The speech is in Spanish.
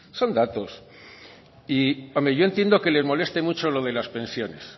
son datos y hombre yo creo que le moleste mucho lo de las pensiones